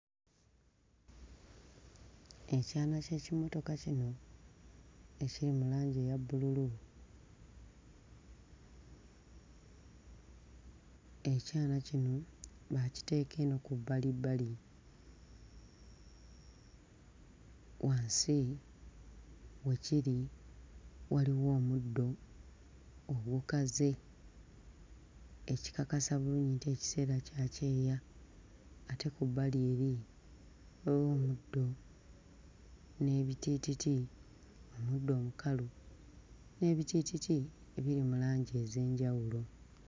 Ekyana ky'ekimotoka kino ekiri mu langi eya bbululu. Ekyana kino baakiteeka eno ku bbalibbali. Wansi we kiri waliwo omuddo ogukaze ekikakasa bulungi nti ekiseera kya kyeya ate ku bbali eri waliwo omuddo n'ebitiititi omuddo mukalu n'ebitiititi ebiri mu langi ez'enjawulo.